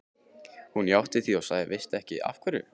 Hún játti því og sagði: Veistu ekki af hverju?